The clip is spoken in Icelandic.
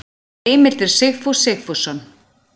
Heimildir Sigfús Sigfússon.